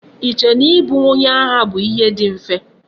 I che na I bu onye agha bu ihe di mfe?